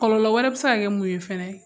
Kɔlɔ wɛrɛ bɛ se ka mun ye fana